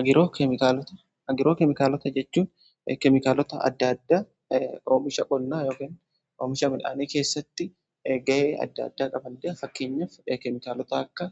Agiroo keemikaalota jechuun keemikaalota adda addaa oomisha qonna oomisha midhaanii keessatti gahee adda addaa qaba. Fakkeenyaf keemikaalota akka